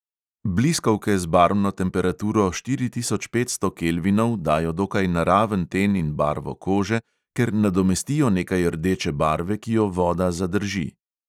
Bliskovke z barvno temperaturo štiri tisoč petsto kelvinov dajo dokaj naraven ten in barvo kože, ker nadomestijo nekaj rdeče barve, ki jo voda zadrži.